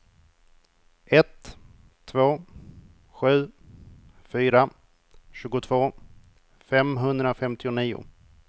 ett två sju fyra tjugotvå femhundrafemtionio